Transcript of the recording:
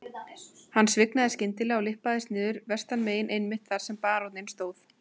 Hann svignaði skyndilega og lyppaðist niður vestanmegin einmitt þar sem baróninn stóð.